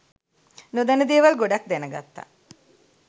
නොදන්න දේවල් ගොඩක් දැනගත්තා